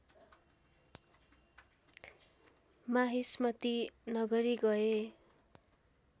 माहिष्मती नगरी गए